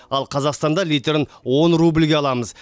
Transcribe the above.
ал қазақстанда литрін он рубльге аламыз